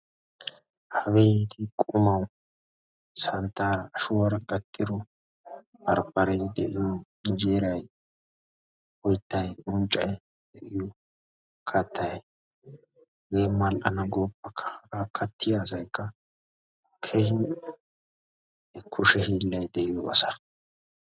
Abeeti! qumawu, santtaara ashshuwaara gattidoo barbare de'iyo henjjeeray, oyttay, unccay, kattay hege mal''ana gooppakka haga kattiya asaykka keehin kushe hiilay de'iyo asa.